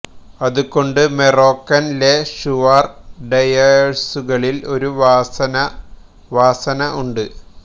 അതുകൊണ്ടു മൊറോക്കൻ ലെ ഷുവാർ ഡെയേഴ്സുകളിൽ ഒരു വാസന വാസന ഉണ്ട്